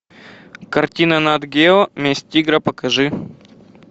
картина нат гео месть тигра покажи